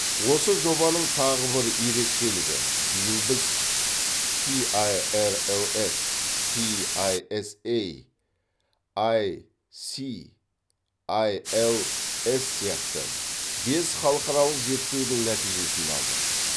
осы жобаның тағы бір ерекшелігі биыл біз пиайэрэлэс пиайэсэй айси айэлэс сияқты бес халықаралық зертеудің нәтижесін алдық